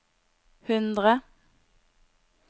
hundre